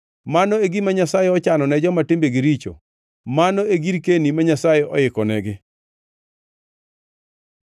Mano e gima Nyasaye ochano ne joma timbegi richo, mano e girkeni ma Nyasaye oikonegi.”